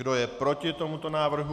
Kdo je proti tomuto návrhu?